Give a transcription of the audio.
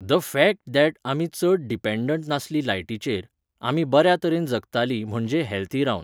The fact that आमी चड dependent नासलीं लायटीचेर, आमी बऱ्या तरेन जगतालीं म्हणजे हॅल्थी रावन.